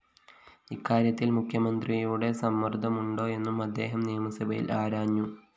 ഇക്കാര്യത്തില്‍ മുഖ്യമന്ത്രിയുടെ സമ്മര്‍ദ്ദമുണ്ടോയെന്നും അദ്ദേഹം നിയമസഭയില്‍ ആരാഞ്ഞു